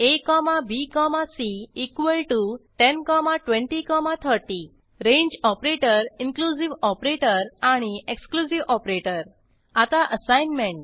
abc102030 range operator inclusive operator आणि exclusive operator आता assignment